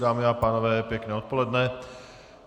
Dámy a pánové, pěkné odpoledne.